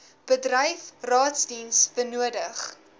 bedryf raadsdiens benodig